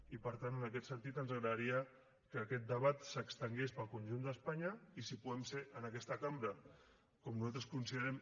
i per tant en aquest sentit ens agradaria que aquest debat s’estengués pel conjunt d’espanya i si podem ser en aquesta cambra com nosaltres considerem